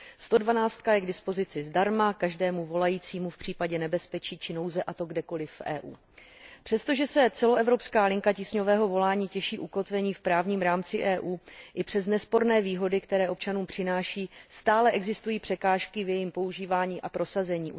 112 je k dispozici zdarma každému volajícímu v případě nebezpečí či nouze, a to kdekoli v EU. Přestože se celoevropská linka tísňového volání těší ukotvení v právním rámci EU i přes nesporné výhody, které občanům přináší, stále existují překážky v jejím používání a prosazení.